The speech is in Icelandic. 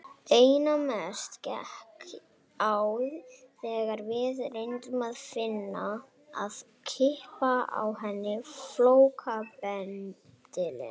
Einna mest gekk á þegar við reyndum að klippa á henni flókabendilinn.